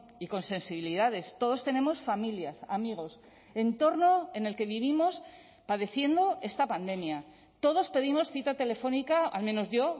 y con sensibilidades todos tenemos familias amigos entorno en el que vivimos padeciendo esta pandemia todos pedimos cita telefónica al menos yo